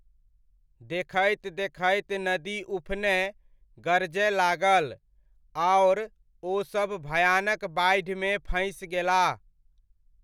देखैत देखैत नदी उफनय, गरजय लागल, आओर ओसभ भयानक बाढ़िमे फँसि गेलाह।